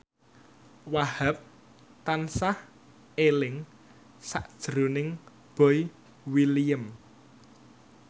Wahhab tansah eling sakjroning Boy William